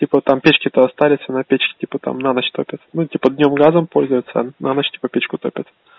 типа там печки то остались на печке типа там на ночь топят ну типа днём днём газом пользуются на ночь типа печку топят